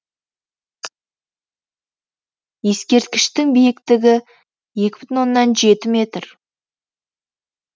ескерткіштің биіктігі екі бүтін оннан жеті метр